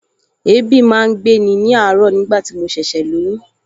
Èébì máa ń gbé ní àárọ̀ nigbati mo ṣẹ̀ṣẹ̀ lóyún